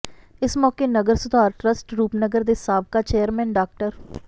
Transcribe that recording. ਇਸ ਮੌਕੇ ਨਗਰ ਸੁਧਾਰ ਟਰੱਸਟ ਰੂਪਨਗਰ ਦੇ ਸਾਬਕਾ ਚੇਅਰਮੈਨ ਡਾ